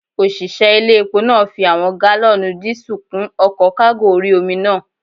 Òṣìṣẹ́ ilé epo náà fi àwọn gálọ̀nù díísù kún ọkọ̀ kágò orí-omi náà